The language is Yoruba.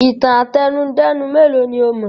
Ìtàn àtẹnudẹ́nu mélòó ni ó mọ̀?